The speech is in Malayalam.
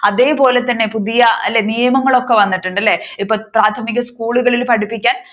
അതേപോലെതന്നെ പുതിയ അല്ലേ നിയമങ്ങളൊക്കെ വന്നിട്ടുണ്ടല്ലേ ഇപ്പോൾ പ്രാഥമിക സ്കൂളുകളിൽ പഠിപ്പിക്കാൻ